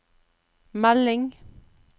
melding